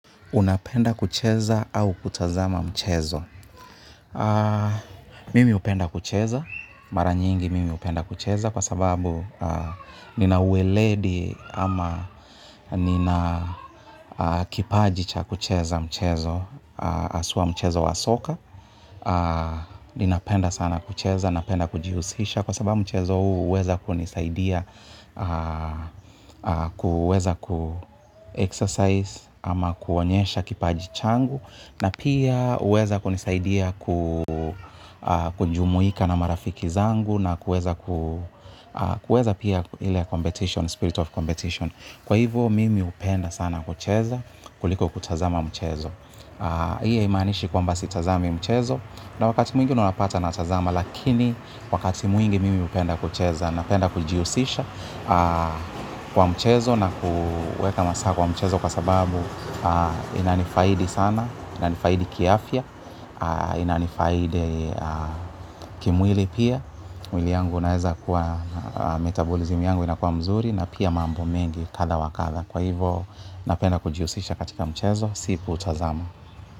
Unapenda kucheza au kutazama mchezo? Mimi upenda kucheza, mara nyingi mimi upenda kucheza kwa sababu nina uweledi ama nina kipaji cha kucheza mchezo aswa mchezo wa soka, ninapenda sana kucheza, napenda kujihusisha kwa sababu mchezo uweza kunisaidia, kuweza kuexercise ama kuonyesha kipaji changu na pia uweza kunisaidia kujumuika na marafiki zangu na kuweza kuweza pia ile competition, spirit of competition. Kwa hivyo mimi upenda sana kucheza kuliko kutazama mchezo. Hii haimanishi kwamba sitazami mchezo na wakati mwingi unapata natazama lakini wakati mwingi mimi upenda kucheza napenda kujiusisha kwa mchezo na kuweka masaa kwa mchezo kwa sababu inanifaidi sana, inanifaidi kiafya, inanifaidi kimwili pia, mwili yangu unaeza kuwa metabolism yangu inakuwa mzuri na pia mambo mengi kadha wakadha. Kwa hivo napenda kujiusisha katika mchezo, si kuutazama.